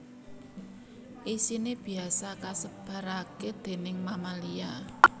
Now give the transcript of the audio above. Isine biasa kasebarake déning mamalia